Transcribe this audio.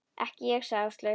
Ekki ég sagði Áslaug.